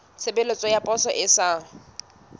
tshebeletso ya poso e sa